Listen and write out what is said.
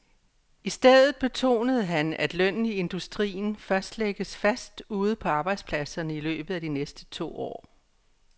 I stedet betonede han, at lønnen i industrien først lægges fast ude på arbejdspladserne i løbet af de næste to år.